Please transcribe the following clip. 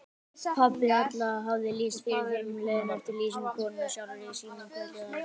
Pabbi Alla hafði lýst fyrir þeim leiðinni eftir lýsingu konunnar sjálfrar í símanum kvöldið áður.